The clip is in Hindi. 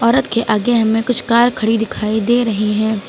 औरत के आगे हमें कुछ कार खड़ी दिखाई दे रही हैं।